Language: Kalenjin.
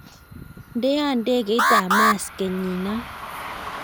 Ndean ndegeit ab mars kenyinan